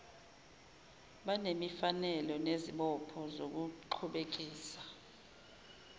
banemfanelo nesibopho sokuqhubekisa